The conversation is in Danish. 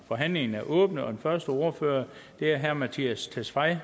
forhandlingen er åbnet og den første ordfører er herre mattias tesfaye